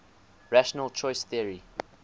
rational choice theory